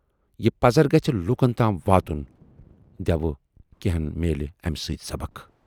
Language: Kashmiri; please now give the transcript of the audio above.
یہِ پَزر گژھِ لوٗکن تام واتُن دٮ۪وٕ کینہن میلہِ امہِ سۭتۍ سبق۔